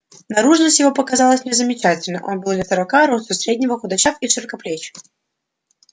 наружность его показалась мне замечательна он был лет сорока росту среднего худощав и широкоплеч